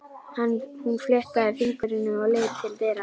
Hún fléttaði fingurna og leit til dyra.